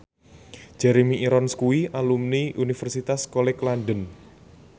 Jeremy Irons kuwi alumni Universitas College London